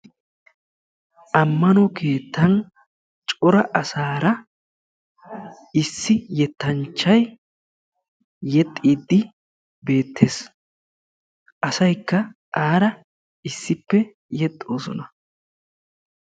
Amanno keettan cora asaara issi yettanchchay yexxiddi beetees. Asaykka aara yexxiddi beetosonna.